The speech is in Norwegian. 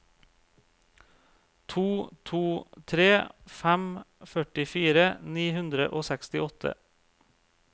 to to tre fem førtifire ni hundre og sekstiåtte